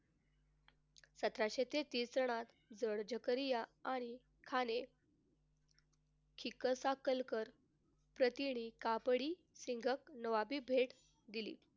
सतराशे तेहतीस सालात आणि ह्याने कापडी नवाबी भेट दिली.